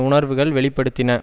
உணர்வுகள் வெளி படுத்தின